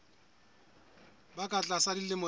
ba ka tlasa dilemo tse